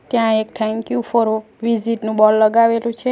ત્યાં એક thank you for visit નું બોર્ડ લગાવેલું છે.